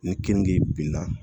Ni kenige binna